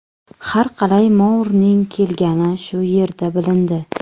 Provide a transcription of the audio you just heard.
Har qalay Mourning kelgani shu yerda bilindi.